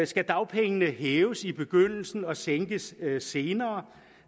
skal dagpengene hæves i begyndelsen og sænkes senere